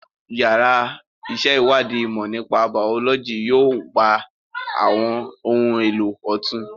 Yàrá ìṣèwádìí ìmọ̀ nípa Bàọ́lọ́jì yóò gba àwọn ohun èlò ọ̀tun